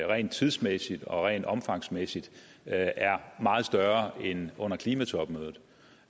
rent tidsmæssigt og rent omfangsmæssigt er er meget større end under klimatopmødet